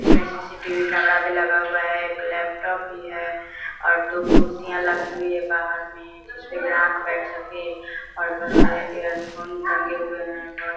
इसमें CCTV. Camera भी लगा हुआ है एक लैपटॉप भी है और दो कुर्सियां लगी हुई है बाहर में जिसमे ग्राहक बैठ सके और बहुत सारे इयरफोन टंगे हुए है बहुत --